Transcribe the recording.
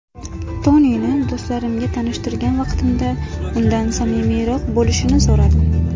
Tonini do‘stlarimga tanishtirgan vaqtimda undan samimiyroq bo‘lishini so‘radim.